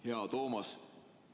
Hea Toomas!